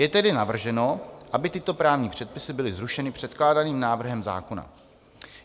Je tedy navrženo, aby tyto právní předpisy byly zrušeny předkládaným návrhem zákona.